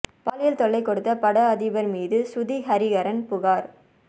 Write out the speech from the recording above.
பாலியல் தொல்லை கொடுத்த பட அதிபர் மீது சுருதி ஹரிகரன் புகார்